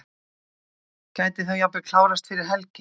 Gæti þá jafnvel klárast fyrir helgi?